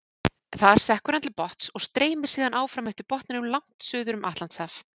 Þar sekkur hann til botns og streymir síðan áfram eftir botninum langt suður um Atlantshaf.